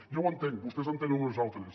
ja ho entenc vostès en tenen unes altres